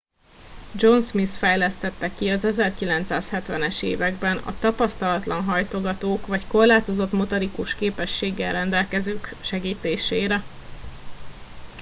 john smith fejlesztette ki az 1970 es években a tapasztalatlan hajtogatók vagy korlátozott motorikus képességekkel rendelkezők segítésére